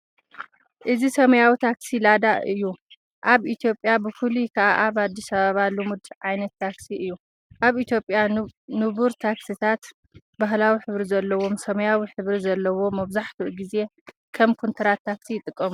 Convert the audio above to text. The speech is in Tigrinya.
እዚ ሰማያዊ ታክሲ ላዳ እዩ ኣብ ኢትዮጵያ ብፍላይ ከኣ ኣብ ኣዲስ ኣበባ ልሙድ ዓይነት ታክሲ እዩ። ኣብ ኢትዮጵያ ንቡር ታክሲታት ባህላዊ ሕብሪ ዘለዎ ሰማያዊ ሕብሪ ዘለዎ መብዛሕትኡ ግዜ ከም ኮንትራት ታክሲ ይጥቀሙሉ።